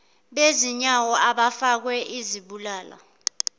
bezinyawo abafakwe izibulala